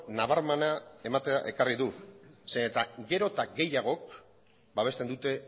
nabarmena ematea ekarri du zeren gero eta gehiagok babesten dute